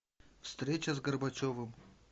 встреча с горбачевым